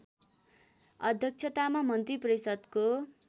अध्यक्षतामा मन्त्रिपरिषदको